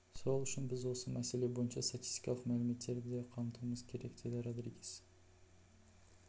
сол үшін біз осы мәселе бойынша статистикалық мәліметтерді де қамтуымыз керек деді родригес